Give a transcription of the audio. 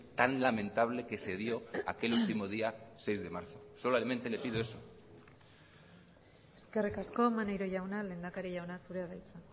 tan lamentable que se dio aquel último día seis de marzo solamente le pido eso eskerrik asko maneiro jauna lehendakari jauna zurea da hitza